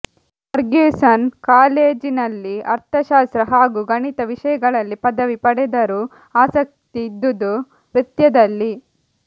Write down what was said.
Ferguson ಕಾಲೇಜಿನಲ್ಲಿ ಅರ್ಥಶಾಸ್ತ್ರ ಹಾಗೂ ಗಣಿತ ವಿಷಯಗಳಲ್ಲಿ ಪದವಿ ಪಡೆದರೂ ಆಸಕ್ತಿ ಇದ್ದುದು ನೃತ್ಯದಲ್ಲಿ